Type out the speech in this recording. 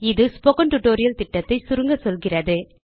இது spoken tutorial திட்டத்தை சுருங்க சொல்கிறது